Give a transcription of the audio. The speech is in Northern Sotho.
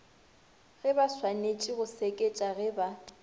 gebaswanetše go seketša ge ba